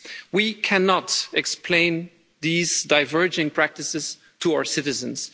We cannot explain these diverging practices to our citizens.